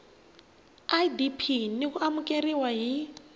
idp na ku amukeriwa hi